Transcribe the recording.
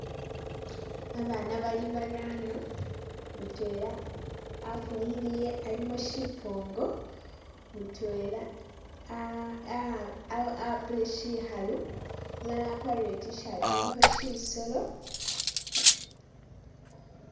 Abaana bali barano, mutwela afunyikhilile alimu syipoongo, mutwela ah ah ah apile syikhalu, umulala akwarire i'T-shirt ilikho syisolo,...